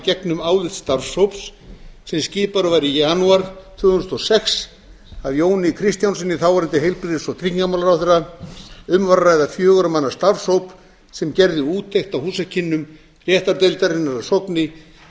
í gegnum álit starfshóps sem skipaður var í janúar tvö þúsund og sex af jóni kristjánssyni þáverandi heilbrigðis og tryggingamálaráðherra um var að ræða fjögurra manna starfshóp sem gerði úttekt á húsakynnum réttargeðdeildarinnar að sogni